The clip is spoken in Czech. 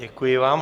Děkuji vám.